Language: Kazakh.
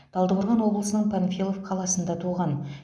талдықорған облысының панфилов қаласында туған